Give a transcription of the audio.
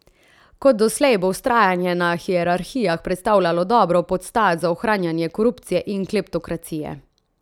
Kot doslej bo vztrajanje na hierarhijah predstavljalo dobro podstat za ohranjanje korupcije in kleptokracije.